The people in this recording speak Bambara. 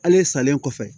Ale salen kɔfɛ